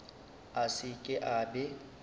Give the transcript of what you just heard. a se ke a be